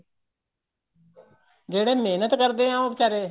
ਜਿਹੜੇ ਮਿਹਨਤ ਕਰਦੇ ਏ ਉਹ ਵਚਾਰੇ